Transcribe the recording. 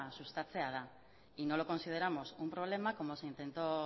sustatzea da y no lo consideramos un problema como se intentó